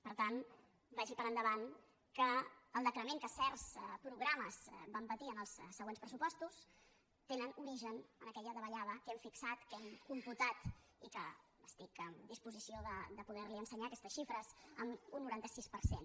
per tant vagi per endavant que el decrement que certs programes van patir en els següents pressupostos tenen origen en aquella davallada que hem fixat que hem computat i que estic en disposició de poder li ensenyar aquestes xifres en un noranta sis per cent